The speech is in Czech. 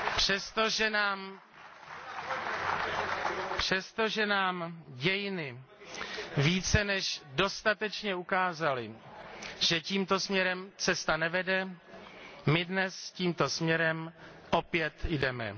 Přestože nám dějiny více než dostatečně ukázaly, že tímto směrem cesta nevede, my dnes tímto směrem opět jdeme.